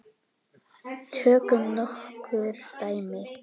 Tökum nokkur dæmi.